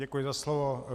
Děkuji za slovo.